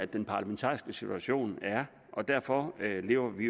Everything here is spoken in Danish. den parlamentariske situation er og derfor lever vi